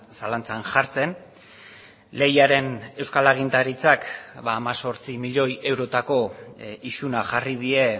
zalantzan jartzen lehiaren euskal agintaritzak hemezortzi milioi eurotako isuna jarri die